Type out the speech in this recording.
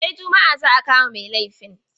Sai juma'a za a kama mai laifin.